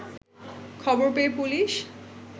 খবর পেয়ে পুলিশ